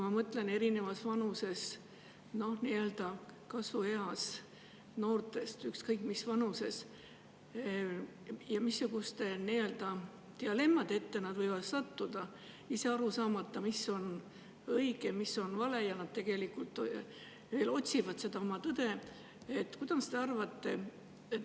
Ma mõtlen nii-öelda kasvueas noortest, ükskõik mis vanuses nad on, ja sellest, missuguste nii-öelda dilemmade ette nad võivad sattuda, ise aru saamata, mis on õige, mis on vale, ja et nad tegelikult veel otsivad seda oma tõde.